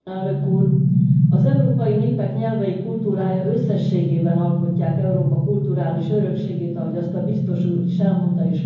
Az európai népek nyelvei kultúrája összességében alkotják Európa kulturális örökségét, ahogy azt a biztos úr is elmondta és köszönöm neki.